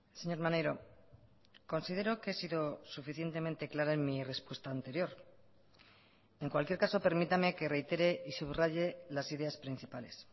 señor maneiro considero que he sido suficientemente clara en mi respuesta anterior en cualquier caso permítame que reitere y subraye las ideas principales